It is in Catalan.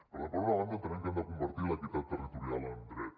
per tant per una banda entenem que hem de convertir l’equitat territorial en dret